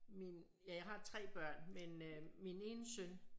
Min ja jeg har 3 børn men øh min ene søn